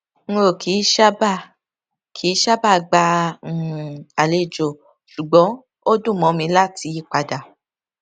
n ò kì í sábà kì í sábà gba um àlejò ṣùgbọn ó dùn mó mi láti yí padà